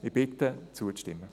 Ich bitte Sie, zuzustimmen.